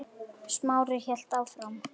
Smári hélt áfram.